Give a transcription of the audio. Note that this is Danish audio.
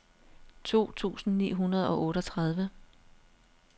to tusind ni hundrede og otteogtredive